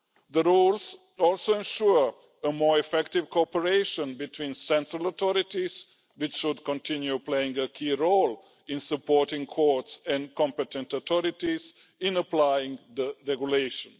The rules also ensure more effective cooperation between central authorities, which should continue playing a key role in supporting courts and competent authorities in applying the regulation.